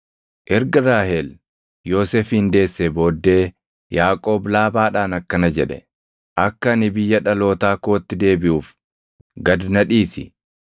Erga Raahel Yoosefin deessee booddee Yaaqoob Laabaadhaan akkana jedhe; “Akka ani biyya dhalootaa kootti deebiʼuuf, gad na dhiisi.